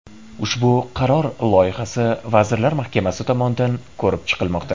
Ushbu qaror loyihasi Vazirlar Mahkamasi tomonidan ko‘rib chiqilmoqda.